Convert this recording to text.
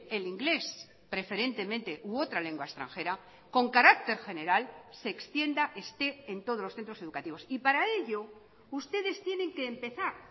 el inglés preferentemente u otra lengua extranjera con carácter general se extienda esté en todos los centros educativos y para ello ustedes tienen que empezar